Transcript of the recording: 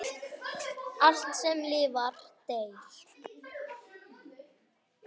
Allt, sem lifnar, deyr.